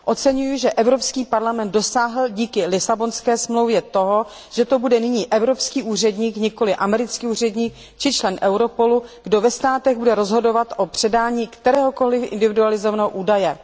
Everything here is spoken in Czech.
Oceňuji, že Evropský parlament dosáhl díky Lisabonské smlouvě toho, že to bude nyní evropský úředník, a nikoli americký úředník či člen Europolu, kdo ve Státech bude rozhodovat o předání kteréhokoli individualizovaného údaje.